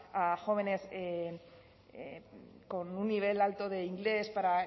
a las jóvenes con un nivel alto de inglés